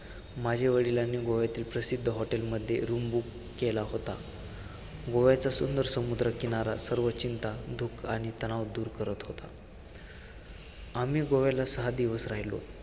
माझे वडिलांनी गोव्यातील प्रसिद्ध hotel मध्ये room book केला होता. गोव्याच्या सुंदर समुद्र किनारा सर्व चिंता, दुःख आणि तणाव दूर करत होता, आम्ही गोव्याला सहा दिवस राहिलो.